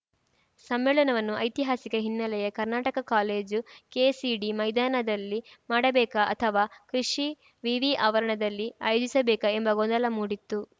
ಸಮ್ಮೇಳನವನ್ನು ಐತಿಹಾಸಿಕ ಹಿನ್ನೆಲೆಯ ಕರ್ನಾಟಕ ಕಾಲೇಜು ಕೆಸಿಡಿ ಮೈದಾನದಲ್ಲಿ ಮಾಡಬೇಕಾ ಅಥವಾ ಕೃಷಿ ವಿವಿ ಆವರಣದಲ್ಲಿ ಆಯೋಜಿಸಬೇಕಾ ಎಂಬ ಗೊಂದಲ ಮೂಡಿತ್ತು